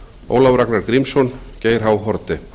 ólafur ragnar grímsson geir h haarde